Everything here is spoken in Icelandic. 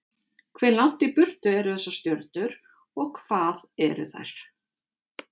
Hve langt í burtu eru þessar stjörnur, og hvað eru þær?